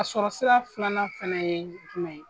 A sɔrɔsira filanan fɛnɛ ye jumɛn ye ?